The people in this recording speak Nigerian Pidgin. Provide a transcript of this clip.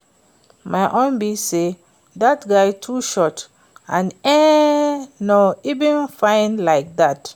My own be say dat guy too short and e no even fine like dat